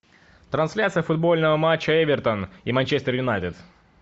трансляция футбольного матча эвертон и манчестер юнайтед